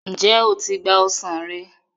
njé o tí gbà ọsán rẹ.